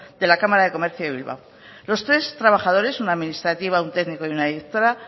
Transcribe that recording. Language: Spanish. de la cámara de comercio de bilbao los tres trabajadores una administrativa un técnico y una directora